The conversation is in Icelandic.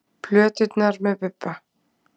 Plöturnar með Bubba